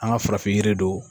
An ka farafin jiri don.